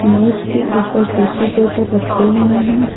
मेज के ऊपर टिशू पेपर रखे हुए हैं।